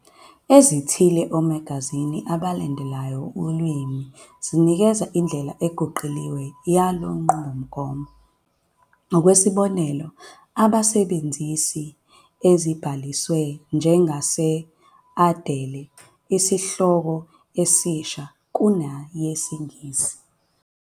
Ezithile Omagazini abalandelayo lulwimi zinikeza indlela eguquliwe yale nqubomgomo, Ngokwesibonelo, abasebenzisi ezibhalisiwe nje angase adale isihloko esisha ku neyesiNgisi.